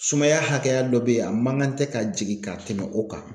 Sumaya hakɛya dɔ be yen a man kan tɛ ka jigin ka tɛmɛ o kan